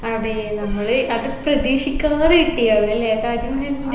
അതെ നമ്മൾ അത് പ്രതീക്ഷിക്കാതെ കിട്ടിയതാണ് അല്ലെ താജ്മഹലിൻറെ